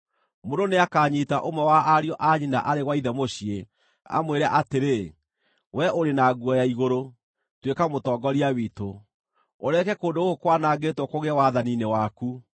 Mũndũ nĩakanyiita ũmwe wa ariũ a nyina arĩ gwa ithe mũciĩ, amwĩre atĩrĩ, “Wee ũrĩ na nguo ya igũrũ, tuĩka mũtongoria witũ; ũreke kũndũ gũkũ kwanangĩtwo kũgĩe wathani-inĩ waku!”